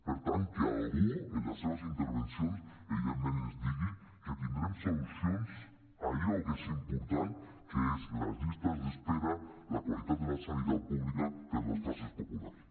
per tant que algú en les seves intervencions evidentment ens digui que tindrem solucions a allò que és important que són les llistes d’espera la qualitat de la sanitat pública per a les classes populars